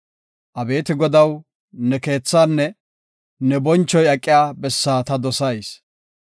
Abeeti Godaw, ne keethaanne, ne bonchoy aqiya bessaa ta dosayis.